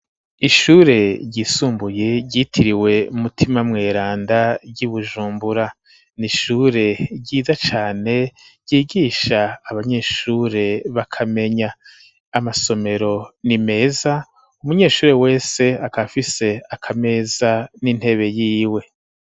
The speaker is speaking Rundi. Ishure ryisumbuye ryitiriwe umutima mweranda ry'i bujumbura ni ishure ryiza cane ryigisha abanyeshure b'akamenya amasomero ni meza umunyeshure wese akafise akameza n'intebe yiwe.